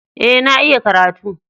Eh, na iya karatu.